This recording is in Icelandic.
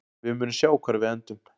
Við munum sjá hvar við endum.